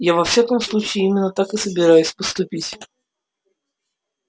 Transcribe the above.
я во всяком случае именно так и собираюсь поступить